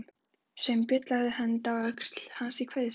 Sveinbjörn lagði hönd á öxl hans í kveðjuskyni.